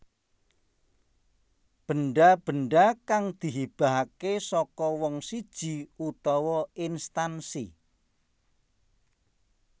Benda benda kang dihibahake saka wong siji utawa instansi